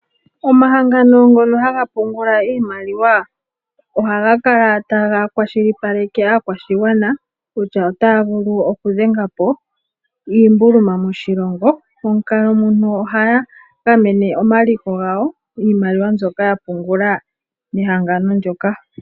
Omahangano ngono haga pungula iimaliwa ohaga kala taga kwashilipaleke aakwashigwana kutya otaya vulu okudhenga po iimbuluma moshilongo. Momukalo muno ohaya gamene omaliko gawo niimaliwa mbyoka ya pungula nehangano ndyoka.